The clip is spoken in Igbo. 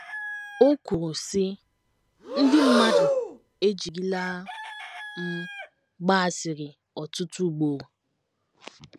O kwuru, sị: “ Ndị mmadụ ejirila m gbaa asịrị ọtụtụ ugboro.